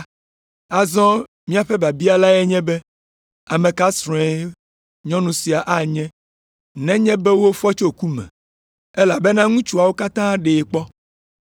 Azɔ míaƒe biabia lae nye be, ame ka srɔ̃e nyɔnu sia anye nenye be wofɔ tso ku me? Elabena ŋutsuawo katã ɖee kpɔ!”